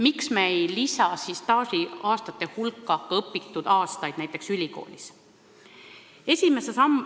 Miks me ei lisa staažiaastate hulka ka kõrgkoolis õpitud aastaid?